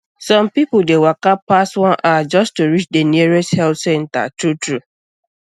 some people dey waka pass one hour just to reach the nearest health center truetrue